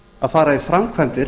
að fara í framkvæmdir